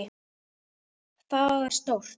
Það er stórt.